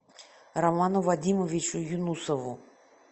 роману вадимовичу юнусову